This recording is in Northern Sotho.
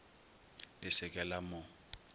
le se ke la mo